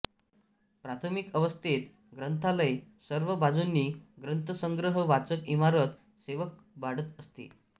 प्राथमिक अवस्थेत ग्रंथालय सर्व बाजूंनी ग्रंथसंग्रह वाचक इमारत सेवक वाढत असते